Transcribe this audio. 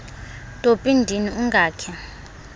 topi ndini ungakhe